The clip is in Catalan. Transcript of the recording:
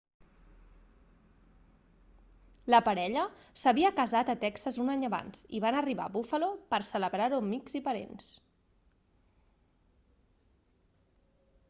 la parella s'havia casat a texas un any abans i van arribar a buffalo per celebrar-ho amb amics i parents